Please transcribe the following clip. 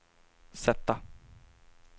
sätta